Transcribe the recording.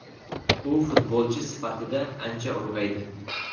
U futbolchi sifatida ancha ulg‘aydi.